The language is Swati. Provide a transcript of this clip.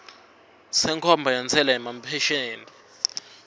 senkhomba yentsela yemaphesenthi